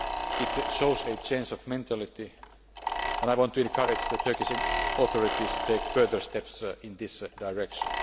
It shows a change of mentality and I want to encourage the Turkish authorities to take further steps in this direction.